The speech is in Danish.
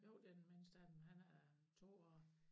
Jo det den midnste af dem han er 2 år